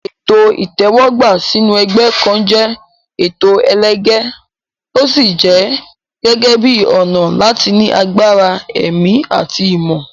Ètò ìtẹ́wọ́gbà sínú ẹgbẹ́ kan jẹ́ ètò ẹlẹgẹ́, ó sì jẹ gẹ́gẹ́ bíi ọ̀nà láti ní agbára ẹ̀mí àti ìmọ̀.